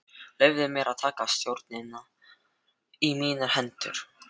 Leyfði mér að taka stjórnina í mínar hendur.